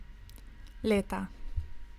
Leta.